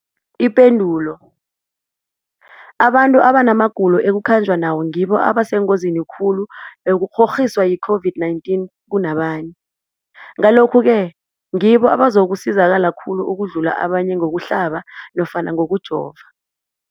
Ipendulo, abantu abanamagulo ekukhanjwa nawo ngibo abasengozini khulu yokukghokghiswa yi-COVID-19 kunabanye, Ngalokhu-ke ngibo abazakusizakala khulu ukudlula abanye ngokuhlaba nofana ngokujova.